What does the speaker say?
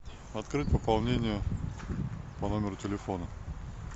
открыть пополнение по номеру телефона